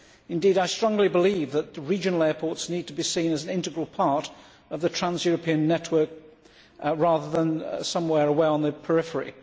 Indeed, I strongly believe that regional airports need to be seen as an integral part of the trans European network, rather than somewhere away on the periphery.